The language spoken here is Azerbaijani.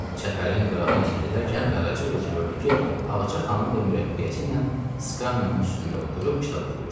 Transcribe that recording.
Çəpərin qırağı ilə gedərkən Qaraca qız gördü ki, Ağaca xanım da mürəbbiyəsi ilə skamyanın üstündə oturub kitab oxuyur.